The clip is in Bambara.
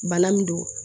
Bana min don